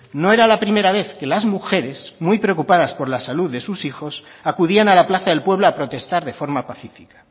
no era la primera vez que las mujeres muy preocupadas por la salud de sus hijos acudían a la plaza del pueblo a protestar de forma pacífica